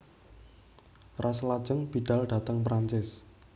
Ras lajeng bidhal dhateng Prancis